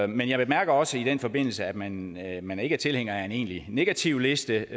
men jeg bemærker også i den forbindelse at man at man ikke er tilhænger af en egentlig negativliste